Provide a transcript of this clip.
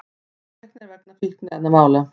Handteknir vegna fíkniefnamála